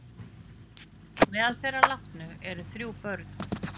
Meðal þeirra látnu eru þrjú börn